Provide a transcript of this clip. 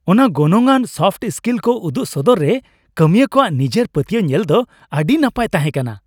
ᱚᱱᱟ ᱜᱚᱱᱚᱝᱟᱱ soft skill ᱠᱚ ᱩᱫᱩᱜ ᱥᱚᱫᱚᱨ ᱨᱮ ᱠᱟᱹᱢᱤᱭᱟᱹ ᱠᱚᱣᱟᱜ ᱱᱤᱡᱮᱨᱮ ᱯᱟᱹᱛᱭᱟᱹᱣ ᱧᱮᱞ ᱫᱚ ᱟᱹᱰᱤ ᱱᱟᱯᱟᱭ ᱛᱟᱦᱮᱸᱠᱟᱱᱟ ᱾